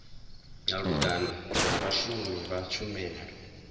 malugana na vhashumi vha tshumelo